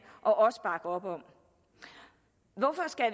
og også bakke op om